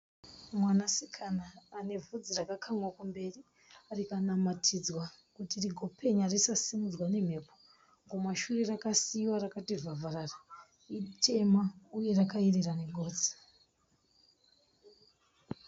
Mwanasikana ane bvudzi rakakamwa kumberi rikanamanidzwa kuti rigopenya risasimudzwe nemhepo. Kumashure rakasiyiwa rakati vhavharara. Itema uye rakayerera negotsi.